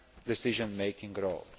decision making role.